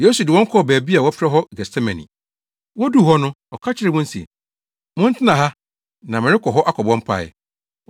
Yesu de wɔn kɔɔ baabi a wɔfrɛ hɔ Getsemane. Woduu hɔ no, ɔka kyerɛɛ wɔn se, “Montena ha na merekɔ hɔ akɔbɔ mpae.”